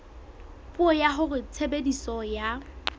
puo ya hore tshebediso ya